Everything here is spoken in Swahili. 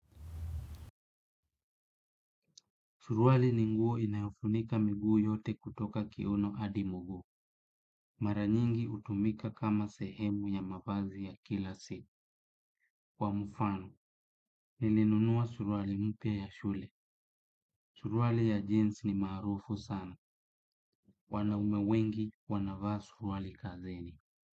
Suruali ni nguo inayofunika miguu yote kutoka kiuno hadi mguu. Maranyingi hutumika kama sehemu ya mavazi ya kila si. Kwa mfano, nilinunua suruali mpya ya shule. Suruali ya jeans ni maarufu sana. Wanaume wengi, wanavaa suruali kazini.